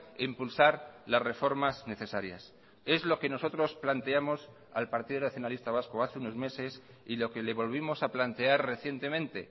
e impulsar las reformas necesarias es lo que nosotros planteamos al partido nacionalista vasco hace unos meses y lo que le volvimos a plantear recientemente